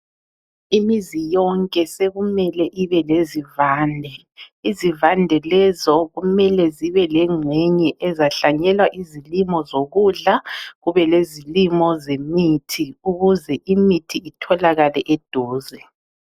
Imizi yonke sekumele ibelezivande. Izivande lezo kumele zibelengxenye ezahlanyelwa izilimo zokudla kubelezilimo zemithi ukuze imithi itholakale eduze.